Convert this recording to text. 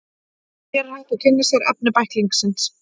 Hér er hægt að kynna sér efni bæklingsins.